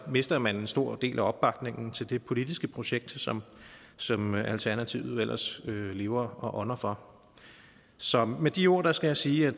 mister man en stor del af opbakningen til det politiske projekt som som alternativet ellers lever og ånder for så med de ord skal jeg sige at